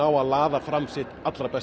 að laða fram sitt allra besta